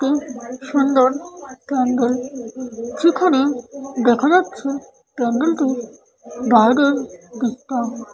এটি সুন্দর পেন্ডেল যেখানে দেখা যাচ্ছে পেন্ডেলটি বাইরের দিকটা-- ।